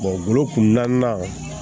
bolo kunnaaninan